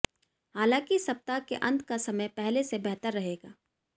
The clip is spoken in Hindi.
हालांकि सप्ताह के अंत का समय पहले से बेहतर रहेगा